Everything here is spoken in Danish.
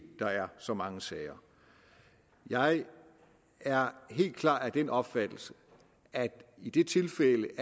der er så mange sager jeg er helt klart af den opfattelse at i de tilfælde